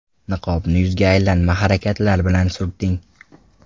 Niqobni yuzga aylanma harakatlar bilan surting.